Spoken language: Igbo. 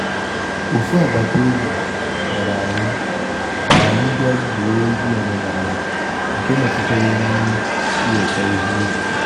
Ofu agbata obi kpọrọ anyị ka anyị bịa gwuo egwu omenala nke metụtara emume iweko ihe ubi.